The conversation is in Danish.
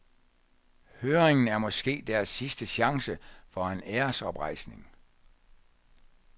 Høringen er måske deres sidste chance for en æresoprejsning.